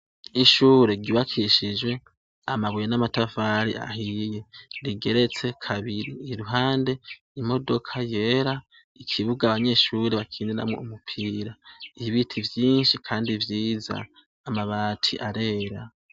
Ishure ryubakishijwe amabuye n'amatafari ahiye, rigeretse kabiri, iruhande imodoka yera, ikibuga abanyeshure bakiniramwo umupira, ibiti vyinshi kandi vyiza, amabati arera.